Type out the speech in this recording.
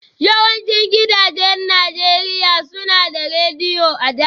Yawancin gidajen Najeriya suna da Rediyo a da